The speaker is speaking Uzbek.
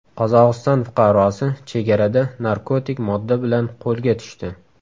Qozog‘iston fuqarosi chegarada narkotik modda bilan qo‘lga tushdi.